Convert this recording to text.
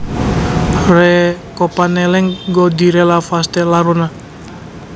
Re kopaneleng go direlaLefatshe la rona